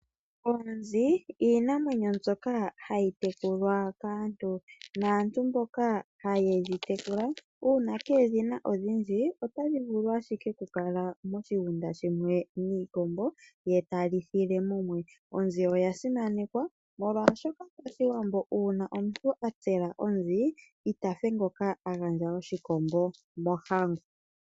Onzi iinamwenyo mbyoka hayi tekulwa kaantu. Naantu mboka hayedhi tekula uuna kedhina odhindji otadhi vulu ashike oku kala moshigunda shimwe niikombo ye ta lithile mumwe. Onzi oya simanekwa molwashoka pashiwambo uuna omuntu a tsela onzi itafe ngoka agandja oshikombo mohango.